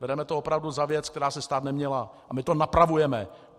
Bereme to opravdu za věc, která se stát neměla, a my to napravujeme.